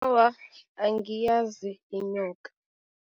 Awa, angiyazi inyoka.